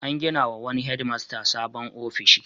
An gina wa wani hedmasta sabon ofishi.